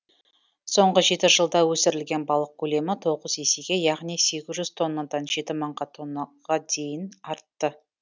соңғы жеті жылда өсірілген балық көлемі тоғыз есеге яғни сегіз жүз тоннадан жеті мыңға тоннаға дейін артты